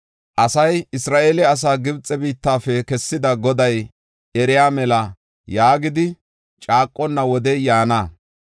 Asay, “Isra7eele asaa Gibxe biittafe kessida Goday eriya mela” yaagidi caaqonna wodey yaana.